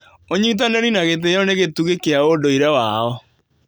ũnyitanĩri na gĩtĩo nĩ gĩtugĩ kĩa ũndũire wao.